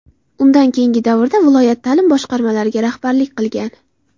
Undan keyingi davrda viloyat ta’lim boshqarmalariga rahbarlik qilgan.